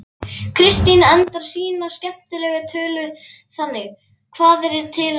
Kristín endar sína skemmtilegu tölu þannig: Hvað er til ráða?